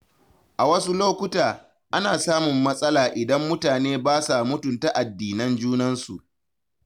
A wasu lokuta, ana samun matsala idan mutane ba sa mutunta addinan junansu.